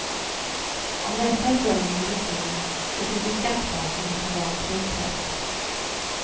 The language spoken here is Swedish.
Om detta är drömmen i ditt liv så tycker skattmasen att du valt helt rätt.